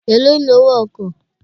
Èló ni owó ọkọ̀?